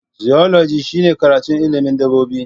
Zoology shine karatun ilimin dabbobi